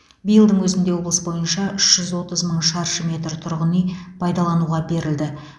биылдың өзінде облыс бойынша үш жүз отыз мың шаршы метр тұрғын үй пайдалануға берілді